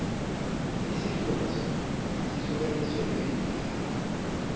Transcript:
isifunda sona sihlukaniswe ngeendawo